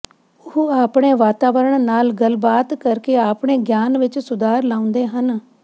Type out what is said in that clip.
ਉਹ ਆਪਣੇ ਵਾਤਾਵਰਣ ਨਾਲ ਗੱਲਬਾਤ ਕਰਕੇ ਆਪਣੇ ਗਿਆਨ ਵਿੱਚ ਸੁਧਾਰ ਲਿਆਉਂਦੇ ਹਨ